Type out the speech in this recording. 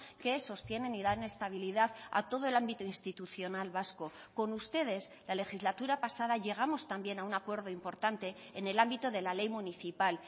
que sostienen y dan estabilidad a todo el ámbito institucional vasco con ustedes la legislatura pasada llegamos también a un acuerdo importante en el ámbito de la ley municipal